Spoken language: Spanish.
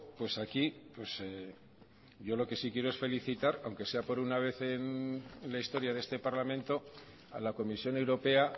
pues aquí yo lo que sí quiero es felicitar aunque sea por una vez en la historia de este parlamento a la comisión europea